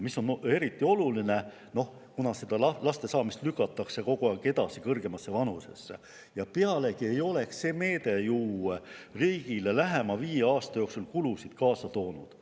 See oleks olnud aga eriti oluline meede, kuna lastesaamist lükatakse niikuinii kogu aeg edasi, kõrgemasse vanusesse, pealegi ei oleks see riigile lähema viie aasta jooksul mingeid kulusid kaasa toonud.